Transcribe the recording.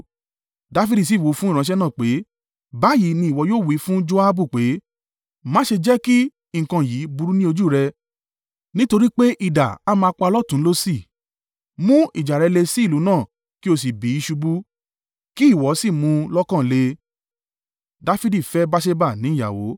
Dafidi sì wí fún ìránṣẹ́ náà pé, “Báyìí ni ìwọ yóò wí fún Joabu pé, ‘Má ṣe jẹ́ kí nǹkan yìí burú ní ojú rẹ, nítorí pé idà a máa pa lọ́tùn ún lósì, mú ìjà rẹ le sí ìlú náà, kí o sì bì í ṣubú.’ Kí ìwọ sì mú un lọ́kàn le.”